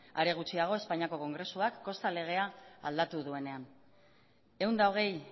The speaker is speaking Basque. are gutxiago espainiako kongresuak kosta legea aldatu duenean ehun eta hogei